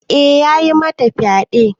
Eh ya yi mata fyaɗe ne.